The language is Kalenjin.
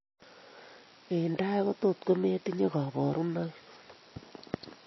Eng' tai kotot kometinye kaborunoik